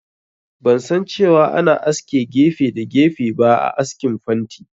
Ban san cewa ana aske gefe da gefe ba a askin fanti